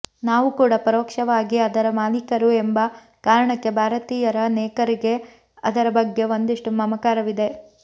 ನಾವು ಕೂಡ ಪರೋಕ್ಷವಾಗಿ ಅದರ ಮಾಲಿಕರು ಎಂಬ ಕಾರಣಕ್ಕೆ ಭಾರತೀಯರನೇಕರಿಗೆ ಅದರ ಬಗ್ಗೆ ಒಂದಿಷ್ಟು ಮಮಕಾರವಿದೆ